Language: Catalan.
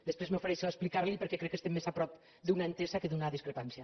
després m’ofereixo a explicar li ho perquè crec que estem més a prop d’una entesa que d’una discrepància